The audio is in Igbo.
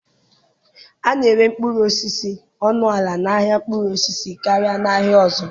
A na-ere mkpụrụ osisi ọnụ ala n'ahịa mkpụrụ osisi karịa n'ahịa ọzọ.